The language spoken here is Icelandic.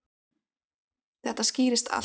Þetta skýrist allt.